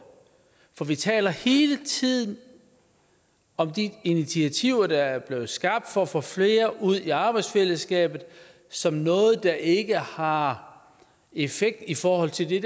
får for vi taler hele tiden om de initiativer der er blevet skabt for at få flere ud i arbejdsfællesskabet som noget der ikke har effekt i forhold til det